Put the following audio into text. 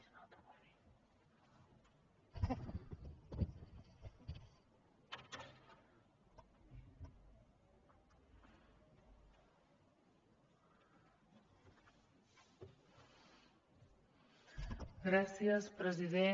gràcies president